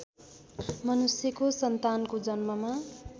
मनुष्यको सन्तानको जन्ममा